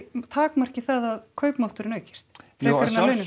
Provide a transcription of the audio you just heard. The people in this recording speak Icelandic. takmarkið það að kaupmátturinn aukist frekar